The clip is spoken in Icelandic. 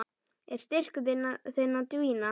Er styrkur þinn að dvína?